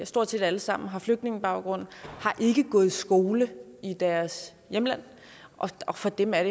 stort set alle sammen har flygtningebaggrund har ikke gået i skole i deres hjemland og for dem er